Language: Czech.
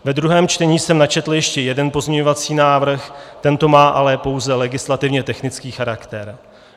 Ve druhém čtení jsem načetl ještě jeden pozměňovací návrh, tento má ale pouze legislativně technický charakter.